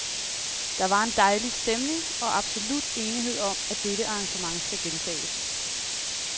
Der var en dejlig stemning og absolut enighed om, at dette arrangement skal gentages.